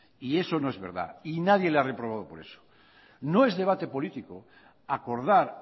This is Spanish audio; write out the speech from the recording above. y eso no es verdad y nadie le ha reprobado por eso no es debate político acordar